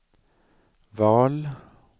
val